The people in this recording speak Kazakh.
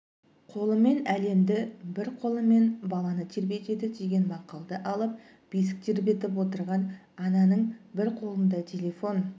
қолымен әлемді бір қолымен баланы тербетеді деген мақалды алып бесік тербетіп отырған ананыңбір қолына телефон